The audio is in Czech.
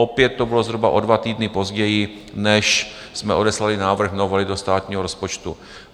Opět to bylo zhruba o dva týdny později, než jsme odeslali návrh novely do státního rozpočtu.